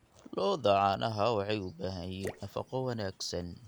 Lo'da caanaha waxay u baahan yihiin nafaqo wanaagsan.